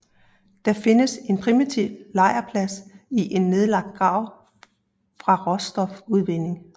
Der findes en primitiv lejrplads i en nedlagt grav fra råstofudvinding